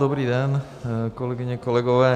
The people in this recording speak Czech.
Dobrý den, kolegyně, kolegové.